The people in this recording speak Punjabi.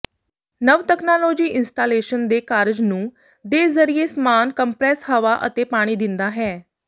ਨਵ ਤਕਨਾਲੋਜੀ ਇੰਸਟਾਲੇਸ਼ਨ ਦੇ ਕਾਰਜ ਨੂੰ ਦੇ ਜ਼ਰੀਏ ਸਮਾਨ ਕੰਪਰੈੱਸ ਹਵਾ ਅਤੇ ਪਾਣੀ ਦਿੰਦਾ ਹੈ